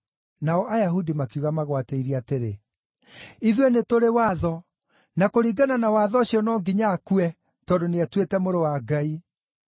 Nao Ayahudi makiuga magwatĩirie atĩrĩ, “Ithuĩ nĩtũrĩ watho; na kũringana na watho ũcio no nginya akue, tondũ nĩetuĩte Mũrũ wa Ngai.”